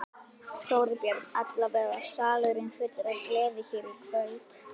Þorbjörn: Allavega salurinn fullur af gleði hér í kvöld?